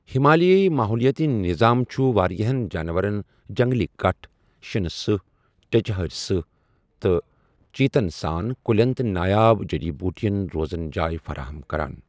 ہِمالیٲیی ماحولِیٲتی نِظام چُھ واریاہن جانوَرن جنٛگلی کَٹھ، شِنَہٕ سٕہہ ، ٹیٚچہٕ ہٲرِ سٕہہ، تہٕ چیتن سان، کُلیٚن تہٕ نایاب جڈی بوُٹین روزن جاے فَراہم کَران